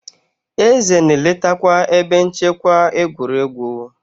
Eze na-eletakwa ebe nchekwa egwuregwu.